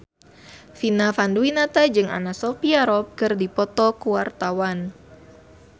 Vina Panduwinata jeung Anna Sophia Robb keur dipoto ku wartawan